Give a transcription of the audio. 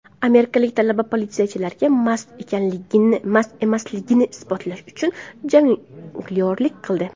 Amerikalik talaba politsiyachilarga mast emasligini isbotlash uchun jonglyorlik qildi.